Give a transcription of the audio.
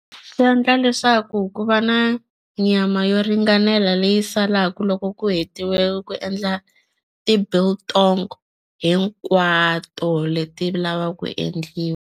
Swi endla leswaku ku va na nyama yo ringanela leyi salaka loko ku hetiwe ku endla ti biltong hinkwato leti lavaka ku endliwa.